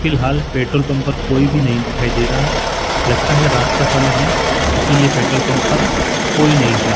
फिलहाल petrol pump पर कोई भी नहीं दिखाई दे रहा लगता है रात का समय है इसीलिए पेट्रोल पंप पर कोई नहीं है।